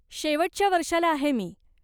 शेवटच्या वर्षाला आहे मी.